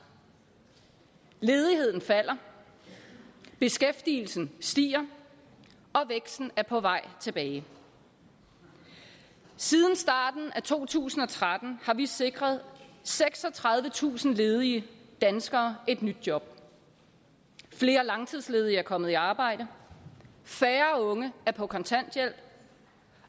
ledigheden falder beskæftigelsen stiger og væksten er på vej tilbage siden starten af to tusind og tretten har vi sikret seksogtredivetusind ledige danskere et nyt job flere langtidsledige er kommet i arbejde færre unge er på kontanthjælp